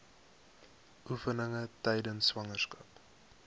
oefeninge tydens swangerskap